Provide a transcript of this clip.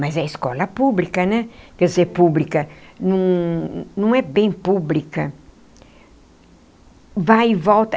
Mas é escola pública né, quer dizer pública, num num é bem pública vai e volta.